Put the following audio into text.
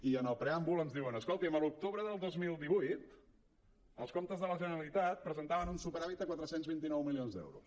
i en el preàmbul ens diuen escolti’m a l’octubre del dos mil divuit els comptes de la generalitat presentaven un superàvit de quatre cents i vint nou milions d’euros